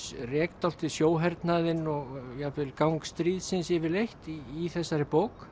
rek dálítið sjóhernaðinn og jafnvel gang stríðsins yfirleitt í þessari bók